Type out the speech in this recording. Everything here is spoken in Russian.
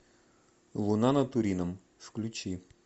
луна над турином включи